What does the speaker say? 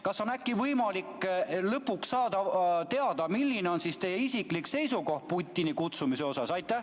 Kas on äkki võimalik lõpuks saada teada, milline on teie isiklik seisukoht Putini kutsumise kohta?